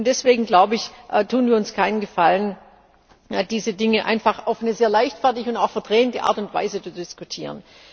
Deswegen glaube ich tun wir uns keinen Gefallen, wenn wir diese Dinge einfach auf eine sehr leichtfertige und auch verdrehende Art und Weise diskutieren.